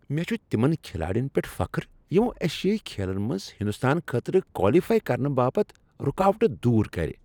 مےٚ چھ تمن کھلاڑین پؠٹھ فخر یمو ایشیٲیی کھیلن منٛز ہنٛدوستان خٲطرٕ کوالیفاے کرنہٕ باپت رکاوٹہٕ دور کر۔